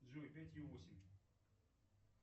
джой пятью восемь